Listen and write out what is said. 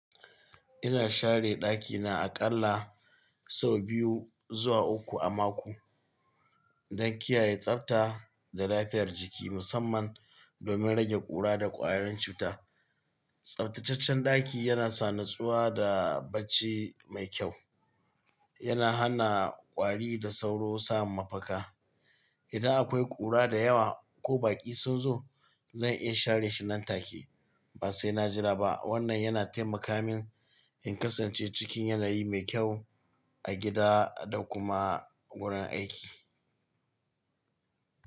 Ina share ɗakina aƙalla sau biyu zuwa uku a mako don kiyaye tsabta da lafiyar jiki, musamman domin rage ƙura da ƙwayoyin cuta. Tsabtataccen ɗaki yana sa nutsuwa da bacci mai kyau, yana hana ƙwari da sauro samun mafaka. Idan akwai ƙura da yawa ko baƙi sun zo, zan iya share shi nan take ba sai na jira ba. Wannan yana taimaka min in kasance cikin yanayi mai kyau a gida da kuma wurin aiki.